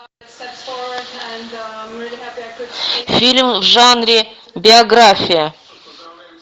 фильм в жанре биография